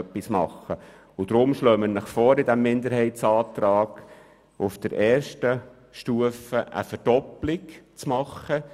Deshalb schlagen wir Ihnen mit diesem Minderheitsantrag I vor, auf der ersten Stufe eine Verdoppelung zu vorzunehmen.